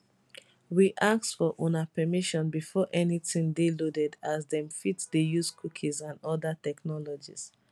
we ask for una permission before anytin dey loaded as dem fit dey use cookies and oda technologies